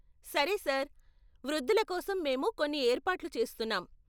సరే సార్, వృద్ధుల కోసం మేము కొన్ని ఏర్పాట్లు చేస్తున్నాం.